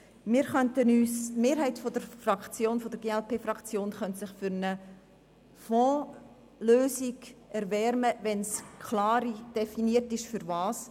Die Mehrheit der glp-Fraktion könnte sich für eine Fondslösung erwärmen, wenn klar definiert wäre wozu.